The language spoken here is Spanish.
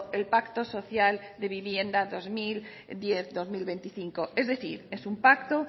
el pacto social de vivienda dos mil diez dos mil veinticinco es decir es un pacto